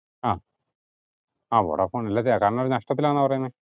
ആഹ് ആഹ് വൊഡാഫോൺ നഷ്ട്ടത്തിലാന്ന പറയിന്നെ